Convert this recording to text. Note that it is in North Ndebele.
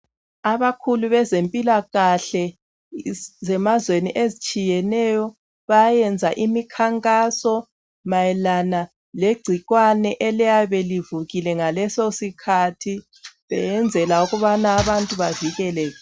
Abakhulu bezemphilakahle emazweni atshiyeneyo bayenza iminkankaso ngegcikwane eliyabe likhona ngaleso sikhathi ukuze abantu bavikeleke.